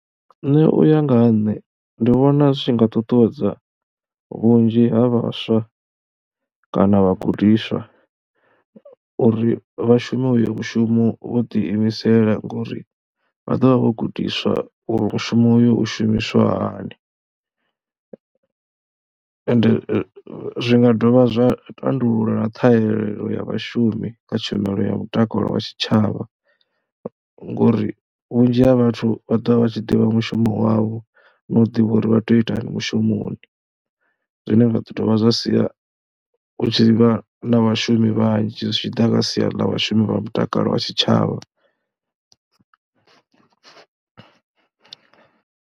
Nṋe u ya nga ha nṋe ndi vhona zwi tshi nga ṱuṱuwedza vhunzhi ha vhaswa kana vhagudiswa uri vha shume uyo mushumo vho ḓiimisela ngori vha ḓo vha vho gudiswa u shuma uyo u shumiswa hani. Ende zwi nga dovha zwa tandulula ṱhahelelo ya vhashumi kha tshumelo ya mutakalo wa tshitshavha ngori vhunzhi ha vhathu vha ḓo vha vha tshi ḓivha mushumo wavho na u ḓivha uri vha tea u itani mushumoni zwine zwa ḓo dovha zwa sia hu tshi vha na vhashumi vhanzhi zwi tshi ḓa kha sia ḽa vhashumi vha mutakalo wa tshitshavha.